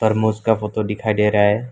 और मौस का फोटो दिखाई दे रहा है।